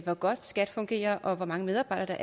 hvor godt skat fungerer og hvor mange medarbejdere